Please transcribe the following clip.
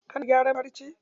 Kana gyaran farce?